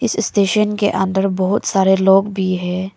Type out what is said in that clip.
इस स्टेशन के अंदर बहुत सारे लोग भी है।